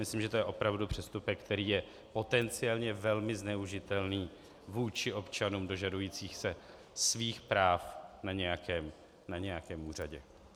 Myslím, že to je opravdu přestupek, který je potenciálně velmi zneužitelný vůči občanům dožadujícím se svých práv na nějakém úřadě.